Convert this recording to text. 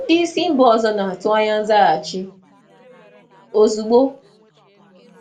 Ndị um oga si mba ọzọ na-atụ anya nzaghachi ozugbo,